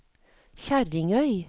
Kjerringøy